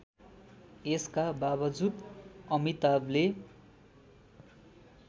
यसका बाबजुद अमिताभले